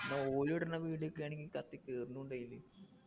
ന്ന ഓലിടുന്ന video ഒക്കെയാണെങ്കി കത്തി കേറുന്നുണ്ട് അയില്